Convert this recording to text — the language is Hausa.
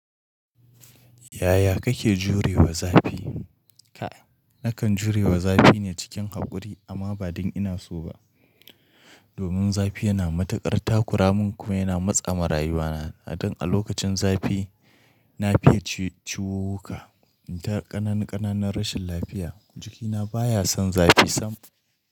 Yaya kake jurewa zafi? Ka, nakan jurewa zafi ne cikin haƙuri amma ba don ina so ba. Domin zafi yana matukar takura mun kuma yana matsa ma rayuwa na. Dan a lokacin zafi na fiye ciwuka, ta ƙananan ƙananan rashin lafiya jikina baya son zafi sam.